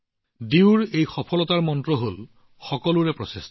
ডিউৰ এই সফলতাৰ মন্ত্ৰ হৈছে সবকা প্ৰয়াস